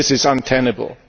This is untenable.